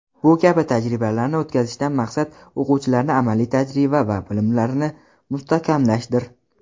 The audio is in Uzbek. Bu kabi tajribalarni o‘tkazishdan maqsad o‘quvchilarni amaliy tajriba va bilimlarini mustahkamlashdir.